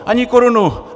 Ani korunu!